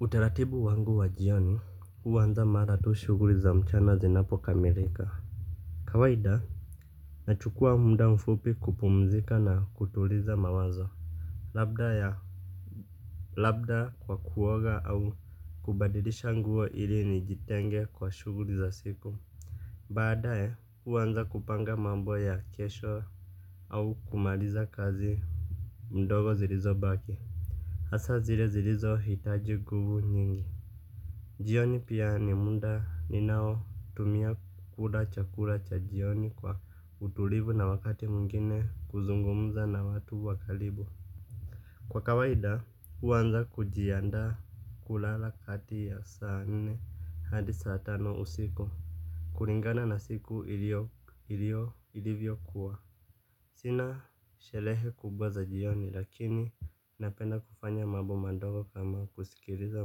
Utaratibu wangu wa jioni huanza mara tu shughuli za mchana zinapo kamelika kawaida nachukua muda mfupi kupumzika na kutuliza mawazo labda ya labda kwa kuoga au kubadilisha nguo ili nijitenge kwa shughuli za siku baadaye huanza kupanga mambo ya kesho au kumaliza kazi ndogo zilizo baki hasa zile zilizo hitaji nguvu nyingi. Jioni pia ni muda ni nao tumia kula chakula cha jioni kwa utulivu na wakati mwngine kuzungumuza na watu wa karibu. Kwa kawaida huanza kujianda kulala kati ya saa nne hadi saa tano usiku. Kulingana na siku ilivyo kuwa sina sherehe kubwa za jioni lakini napenda kufanya mambo madogo kama kusikiliza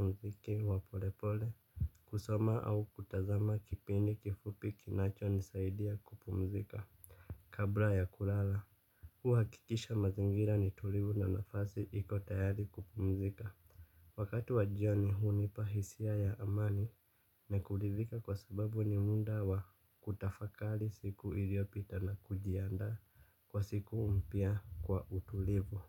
mziki wa pole pole. Kusoma au kutazama kipindi kifupi kinacho nisaidia kupumzika. Kabla ya kulala huhakikisha mazingira ni tulivu na nafasi iko tayari kupumzika. Wakati wa jioni hunipa hisia ya amani na kurithika kwa sababu ni muda wa kutafakari siku iliyopita na kujiandaa kwa siku mpya kwa utulivu.